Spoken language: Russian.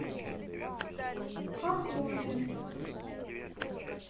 хохлове